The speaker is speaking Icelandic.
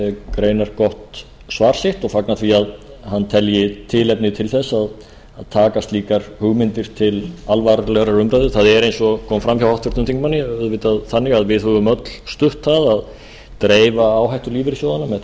greinargott svar sitt og fagna því að hann telji tilefni til að taka slíkar hugmyndir til alvarlegrar umræðu það er eins og kom fram hjá háttvirtum þingmanni auðvitað þannig að við höfum öll stutt það að dreifa áhættu lífeyrissjóðanna